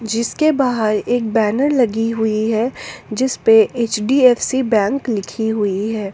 जिसके बाहर एक बैनर लगी हुई है जिसपे एच_डी_एफ_सी बैंक लिखी हुई है।